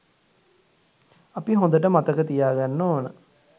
අපි හොඳට මතක තියාගන්න ඕන